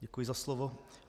Děkuji za slovo.